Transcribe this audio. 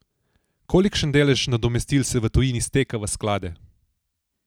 Kolikšen delež nadomestil se v tujini steka v sklade?